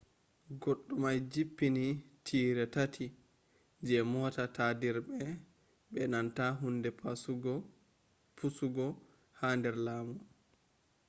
goddumai jippini tire tati je mota tadirbe be nanta hunde pusugo ha der lamu